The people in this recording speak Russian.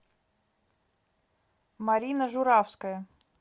марина журавская